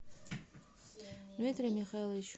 дмитрий михайлович